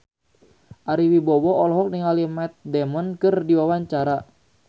Ari Wibowo olohok ningali Matt Damon keur diwawancara